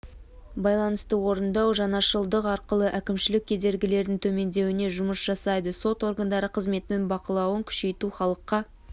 байланысты орындау жаңашылдық арқылы әкімшілік кедергілердің төмендеуіне жұмыс жасайды сот органдары қызметінің бақылауын күшейту халыққа